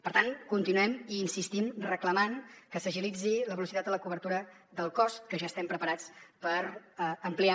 per tant continuem i hi insistim reclamant que s’agilitzi la velocitat de la cobertura del cos que ja estem preparats per ampliar